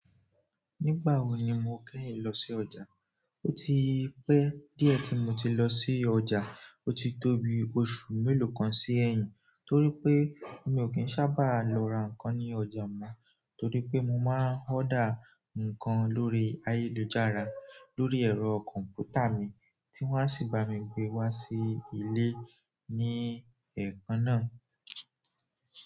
Nígbà wo ni mo kẹ́yìn lọ sí ọ̀jà? Ó ti pẹ́ díẹ̀ tí mo ti lọ sí ọjà. Ó ti tóbi ọ̀sun mélòó kan sí ẹ̀yìn torí pé mi ò kí ń sábà lọ ra nǹkan ní ọjà mọ́ torí pé mo máa ń order nǹkan lórí ayélujára lórí ẹ̀rọ kọ̀m̀pútà mi tí wọ́n á sì bá mi gbé wá sí ilé ní ẹ̀ẹ̀kan náà.